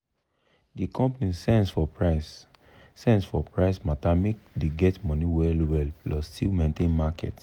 the company sense for price sense for price matter make dey get money well well plus still maintain market.